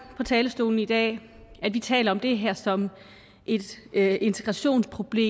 på talerstolen i dag at vi taler om det her som et integrationsproblem